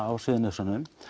á Suðurnesjunum